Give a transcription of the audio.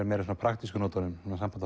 meira á praktískum nótum